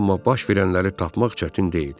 Amma baş verənləri tapmaq çətin deyil.